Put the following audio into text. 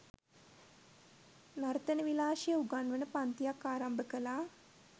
නර්තන විලාශය උගන්වන පංතියක් ආරම්භ කළා